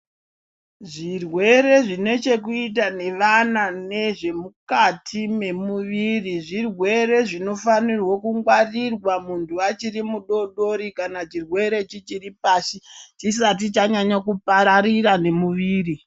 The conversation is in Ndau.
Zvirwere zvine chekuita nevana nezvemukati memuviri zvirwere zvinofanirwe kungwarirwa muntu achiri mudodori kana chirwere chichiri pasi chisati chanyanya kupararira nemuviri.